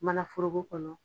Manaforoko kɔnɔ